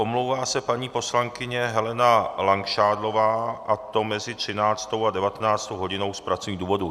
Omlouvá se paní poslankyně Helena Langšádlová, a to mezi 13. a 19. hodinou z pracovních důvodů.